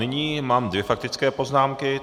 Nyní mám dvě faktické poznámky.